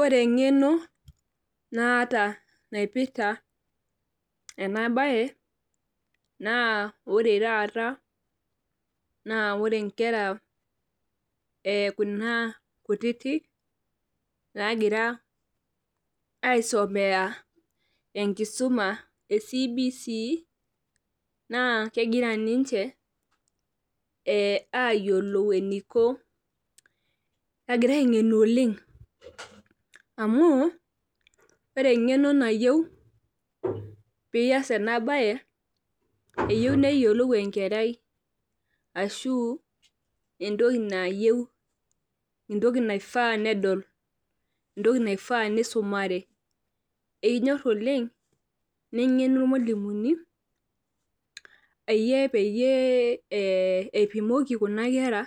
Ore eng'eno naata naipirta ena bae. naa ore taata ore Kuna kera kutitik naagira aisomea enkisuma e CBC.naa kegira ninche aayiolou eniko .egira angenu oleng. amu ore engeno nayieu. eyieu neyiolou enkerai entoki nayieu, entoki naifaa nedoli. entoki naifaa nisumare. eyieu oleng, nengenu ilmalimuni, peyiee eipimoki Kuna kera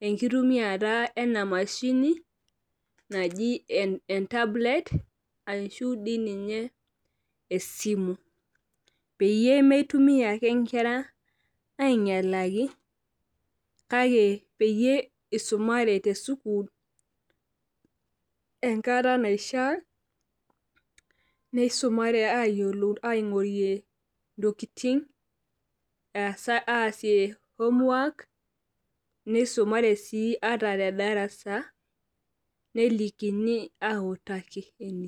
enkitumiata ena mashini, ashu e tablet ashu ninye esimu. peyie neitumia ake nkera aingialaki kake peyie eisumare te sukuul enkata naifaa. neisumare aayiolou ntokitin aasie homework nisumare sii tedarasa. nelikini autaki ine.